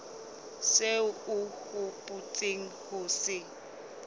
seo o hopotseng ho se